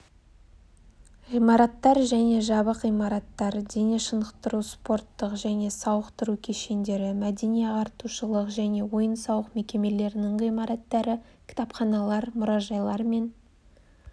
ғимараттар және жабық имараттар дене шынықтыру-спорттық және сауықтыру кешендері мәдени-ағартушылық және ойын-сауық мекемелерінің ғимараттары кітапханалар мұражайлар мен